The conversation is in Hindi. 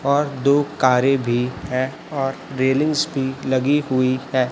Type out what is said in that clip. और दो कारें भी है और रेलिंग्स भी लगी हुई है।